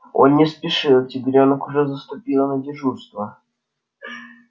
он не спешил тигрёнок уже заступила на дежурство